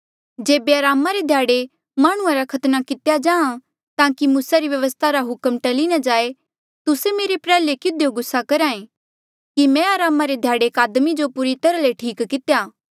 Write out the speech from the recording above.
जेबे अरामा रे ध्याड़े माह्णुंआं रा खतना कितेया जाहाँ ताकि मूसा री व्यवस्था रा हुक्म टली ना जाए तुस्से मेरे प्रयाल्हे किधियो गुस्सा करहा ऐें कि मैं अरामा रे ध्याड़े एक आदमी जो पूरी तरहा ले ठीक कितेया